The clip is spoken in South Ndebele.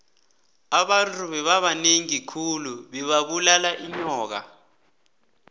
abantu bebabanengi khulu bebabulala inyoka